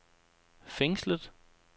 fængslet